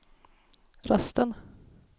rösten